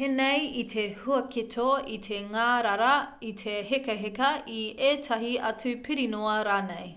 pēnei i te huaketo i te ngārara i te hekaheka i ētahi atu pirinoa rānei